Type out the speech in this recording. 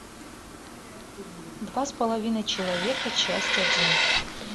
два с половиной человека часть один